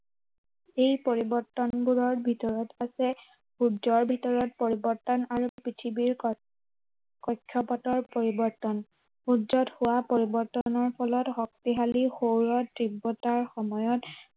এই পৰিৱৰ্তনবোৰৰ ভিতৰত আছে সূৰ্যৰ ভিতৰত পৰিৱৰ্তন আৰু পৃথিৱীৰ, কক্ষপথৰ পৰিৱৰ্তন। সূৰ্যত হোৱা পৰিৱৰ্তনৰ ফলত শক্তিশালী সৌৰ তীব্ৰতাৰ সময়ত